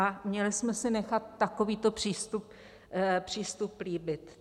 A měli jsme si nechat takovýto přístup líbit.